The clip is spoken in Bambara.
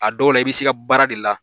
A dɔw la i bɛ se i ka baara de la